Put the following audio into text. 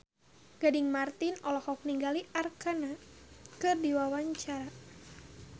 Gading Marten olohok ningali Arkarna keur diwawancara